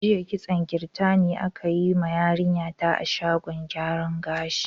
Jiya kitson kirtani aka yi ma yarinya ta a shagon gyaran gashin.